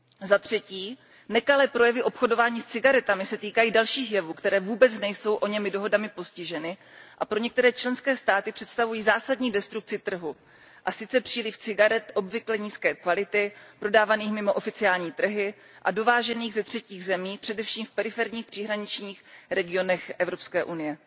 Za třetí, nekalé projevy obchodování s cigaretami se týkají dalších jevů, které vůbec nejsou těmito dohodami postiženy a pro některé členské státy představují zásadní destrukci trhu, a sice přílivu cigaret obvykle nízké kvality, prodávaných mimo oficiální trhy a dovážených ze třetích zemí, především v periferních příhraničních regionech Evropské unie.